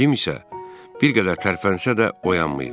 Cim isə bir qədər tərpənsə də oyanmayıb.